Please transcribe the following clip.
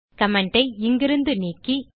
comment ஐ இங்கிருந்து நீக்கி